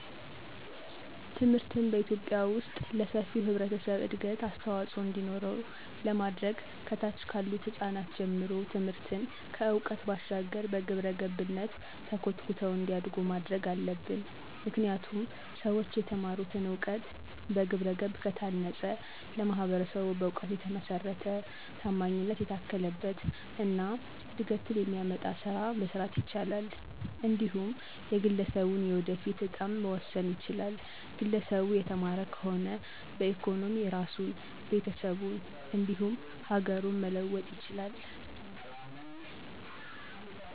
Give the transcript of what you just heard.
ትምህርትን በኢትዮጲያ ዉስጥ ለሰፊው ህብረተሰብ እድገት አስተዋፅዖ እንዲኖረው ለማድረግ ከታች ካሉት ህጻናት ጀምሮ ትምህርትን ከዕውቀት ባሻገር በግብረገብነት ተኮትኩተው እንዲያዱ ማድረግ አለብን። ምክንያቱም ሠዎች የተማሩትን እውቀት በግብረገብ ከታነፀ ለማህበረሰቡ በእውቀት የተመሰረተ፣ ታማኝነት የታከለበት እና እድገትን የሚያመጣ ስራ መስራት ይችላል። እንዲሁም የግለሠቡን የወደፊት እጣም መወሰን ይችላል፤ ግለሰቡ የተማረ ከሆነ በኢኮኖሚ ራሱን፣ ቤተሰቡን እንዲሁም ሀገሩን መለወጥ ይችላል።